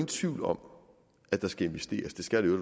tvivl om at der skal investeres det skal